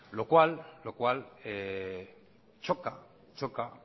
lo cual choca